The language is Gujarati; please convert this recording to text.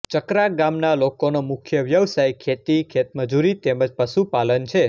ચકરા ગામના લોકોના મુખ્ય વ્યવસાય ખેતી ખેતમજૂરી તેમ જ પશુપાલન છે